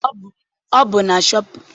Ọ bụ na shọpịn mọọ ka nne m gotere akwa a.